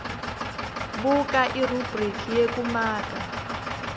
buka irubhriki yekumaka